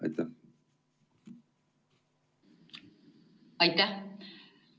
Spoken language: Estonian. Aitäh!